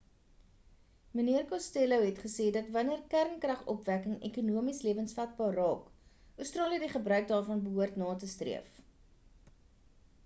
mnr costello het gesê dat wanneer kernkragopwekking ekonomies lewensvatbaar raak australië die gebruik daarvan behoort na te streef